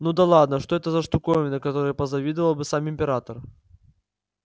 ну да ладно что это за штуковина которой позавидовал бы сам император